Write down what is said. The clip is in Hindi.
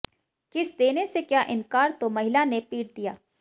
किस देने से किया इनकार तो महिला ने पीट दिया